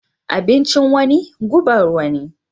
Abincin wani gubar wani